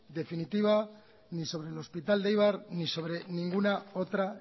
definitiva ni sobre el hospital de eibar ni sobre ninguna otra